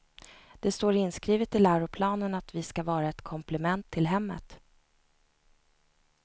Det står inskrivet i läroplanen att vi ska vara ett komplement till hemmet.